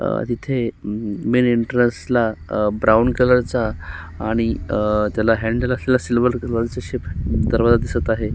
अ तिथे मेन एंट्रेन्सला ब्राऊन कलरचा आणि त्याला हॅंडल असलेला सिल्वर कलरचा दरवाजा दिसत आहे.